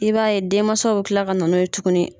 I b'a ye denmansaw bɛ kila ka na n'o ye tuguni.